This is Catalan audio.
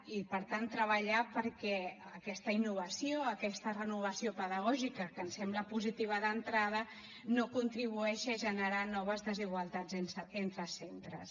i per tant treballar perquè aquesta innovació aquesta renovació pedagògica que ens sembla positiva d’entrada no contribueixi a generar noves desigualtats entre centres